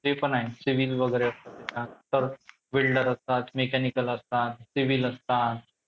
civil वगैरे असं welder असतात, mechanical असतात, civil असतात.